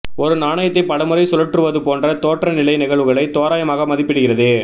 ஒரு நாணயத்தை பலமுறை சுழற்றுவது போன்ற தோற்றநிலை நிகழ்வுகளை தோராயமாக மதிப்பிடுகிறது